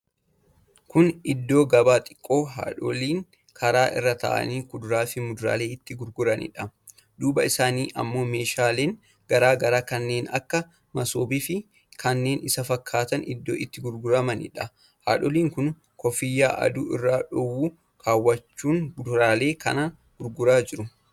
Kun iddoo gabaa xiqqoo haadholiin karaa irra taa'anii kuduraa fi muduraalee itti gurguranidha. Duuba isaanii ammoo meeshaaleen garaa garaa kanneen akka masoobii fi kanneen isa fakkaataan iddoo itti gurguramanidha. Haadoliin kun kooffiyyaa aduu irraa dhowwu kawwachuun kuduraalee kana gurguraa jiru.